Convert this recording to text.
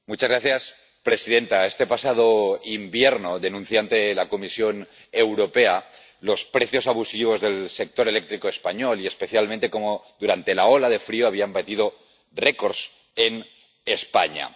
Señora presidenta, este pasado invierno denuncié ante la Comisión Europea los precios abusivos del sector eléctrico español y, especialmente, cómo durante la ola de frío habían batido récords en España.